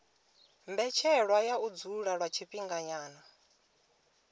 mbetshelwa ya u dzula lwa tshifhinganyana